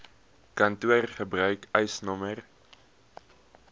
kantoor gebruik eisnr